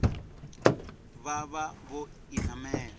vha vha vho i namela